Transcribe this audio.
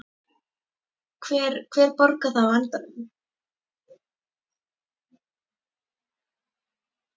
Hver, hver borgar það á endanum?